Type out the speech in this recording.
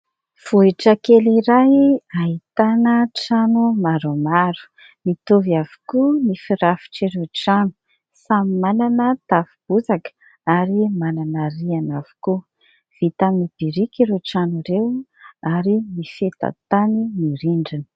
Vohitra kely iray ahitana trano maromaro. Mitovy avokoa ny firafitr' ireo trano. Samy manana tafo bozaka ary manana rihana avokoa. Vita amin'ny birika ireo trano ireo ary mifeta tany ny rindrina.